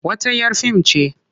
Wata 'yar fim ce.